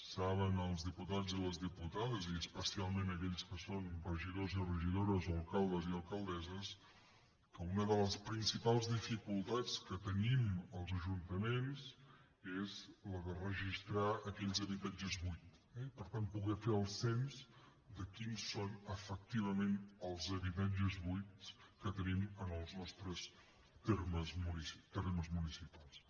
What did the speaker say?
saben els diputats i les diputades i especialment aquells que són regidors i regidores o alcaldes i alcaldesses que una de les principals dificultats que tenim els ajuntaments és la de registrar aquells habitatges buits eh i per tant poder fer el cens de quins són efectivament els habitatges buits que tenim en els nostres termes municipals